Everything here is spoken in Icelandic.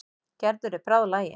Gerður er bráðlagin.